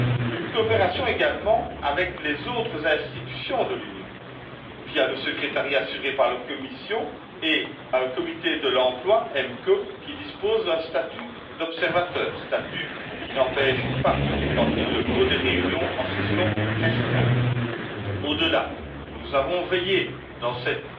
Une coopération également avec les autres institutions de l'Union, via le secrétariat assuré par la Commission et un comité de l'emploi qui dispose d'un statut d'observateur, statut qui n'empêche pas, quand il le faut, des réunions en session restreinte. Au delà, nous avons veillé, dans cette